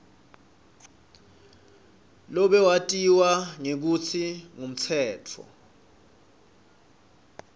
lobewatiwa ngekutsi ngumtsetfo